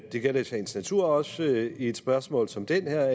det gælder i sagens natur også i et spørgsmål som det her